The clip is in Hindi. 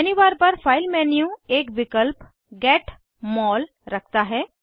मेन्यू बार पर फाइल मेन्यू एक विकल्प गेट मोल रखता है